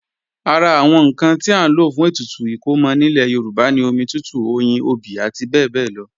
Ara àwọn ǹkan tí à ń lò fún ètùtù ìkómọ nílẹ̀ Yorùbá ni omi tútù, oyin, obì àti bẹ́ẹ̀bẹ́ẹ́lọ